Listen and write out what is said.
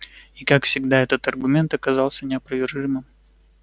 и как всегда этот аргумент оказался неопровержимым